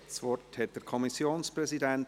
Das Wort hat der Kommissionspräsident.